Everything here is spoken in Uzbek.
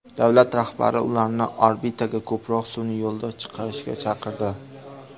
Davlat rahbari ularni orbitaga ko‘proq sun’iy yo‘ldosh chiqarishga chaqirdi.